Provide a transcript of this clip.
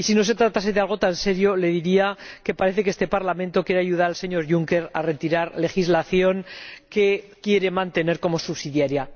Y si no se tratase de algo tan serio, le diría que parece que este Parlamento quiere ayudar al señor Juncker a retirar legislación que quiere mantener como subsidiaria.